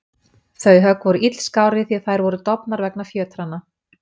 Þau högg voru illskárri því að þær voru dofnar vegna fjötranna.